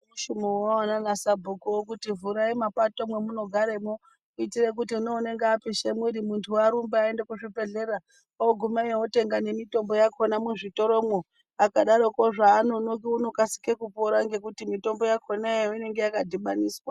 Chimboonana nasabhuku kuti chimbovhurai mapato mavanogara kuitira kuti unenge apisha mwiri muntu arumba aenda kuzvibhedhlera oguma otora mutombo muzvibhedhlera akadaroko anonoki anokasira kupora nekuti mitombo yakona inenge yakadhibaniswa.